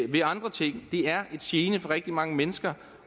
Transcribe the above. ved andre ting det er en gene for rigtig mange mennesker